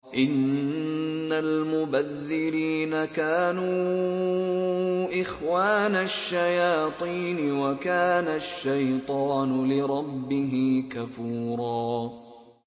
إِنَّ الْمُبَذِّرِينَ كَانُوا إِخْوَانَ الشَّيَاطِينِ ۖ وَكَانَ الشَّيْطَانُ لِرَبِّهِ كَفُورًا